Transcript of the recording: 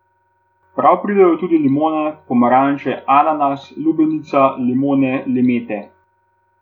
Prav pridejo tudi limone, pomaranče, ananas, lubenica, limone, limete ...